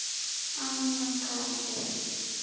Anna Katrín.